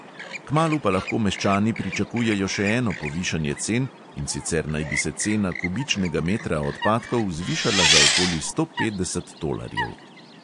Kmalu pa lahko meščani pričakujejo še eno povišanje cen, in sicer naj bi se cena kubičnega metra odpadkov zvišala za okoli sto petdeset tolarjev.